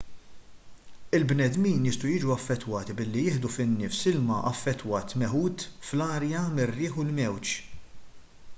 il-bnedmin jistgħu jiġu affettwati billi jieħdu fin-nifs ilma affettwat meħud fl-arja mir-riħ u l-mewġ